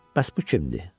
Bəs bu kimdir?